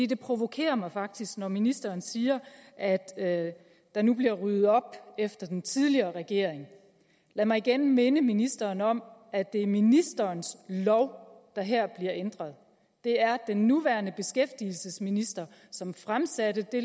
det provokerer mig faktisk når ministeren siger at der nu bliver ryddet op efter den tidligere regering lad mig igen minde ministeren om at det er ministerens lov der her bliver ændret det er den nuværende beskæftigelsesminister som fremsatte det